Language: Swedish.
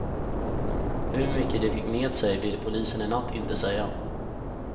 Hur mycket de fick med sig ville polisen i natt inte säga.